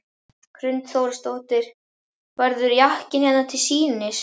Hrund Þórsdóttir: Verður jakkinn hérna til sýnis?